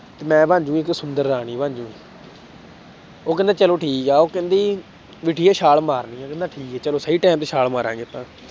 ਤੇ ਮੈਂ ਬਣ ਜਾਊਂਗੀ ਇੱਕ ਸੁੰਦਰ ਰਾਣੀ ਬਣ ਜਾਊਂਗੀ ਉਹ ਕਹਿੰਦਾ ਚਲੋ ਠੀਕ ਹੈ ਉਹ ਕਹਿੰਦੀ ਵੀ ਠੀਕ ਹੈ ਛਾਲ ਮਾਰਨੀ ਹੈ ਕਹਿੰਦਾ ਠੀਕ ਹੈ ਚਲੋ ਸਹੀ time ਤੇ ਛਾਲ ਮਾਰਾਂਗੇ ਆਪਾਂ।